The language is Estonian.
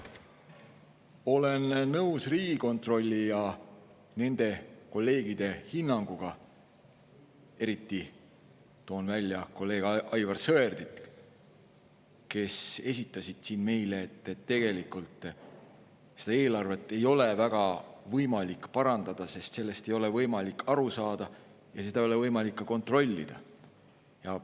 Olen nõus Riigikontrolli ja nende kolleegide – eriti toon esile kolleeg Aivar Sõerdi – hinnanguga, kes esitasid siin meile, et tegelikult seda eelarvet ei ole väga võimalik parandada, sest sellest ei ole võimalik aru saada ja seda ei ole võimalik ka kontrollida.